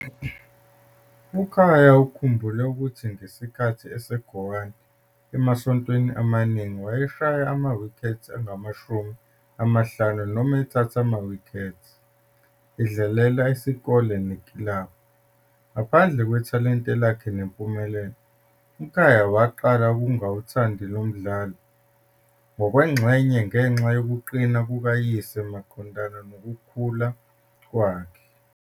UKhaya ukhumbule ukuthi ngesikhathi eseCowan, emasontweni amaningi "wayeshaya amawikhethi angamashumi amahlanu noma ethatha amawikhethi," edlalela isikole nekilabhu. Ngaphandle kwethalente lakhe nempumelelo, uKhaya waqala ukungawuthandi lo mdlalo, ngokwengxenye ngenxa yokuqina kukayise maqondana nokukhula kwakhe.